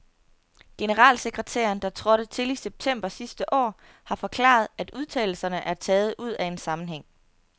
Generalsekretæren, der trådte til i september sidste år, har forklaret, at udtalelserne er taget ud af en sammenhæng.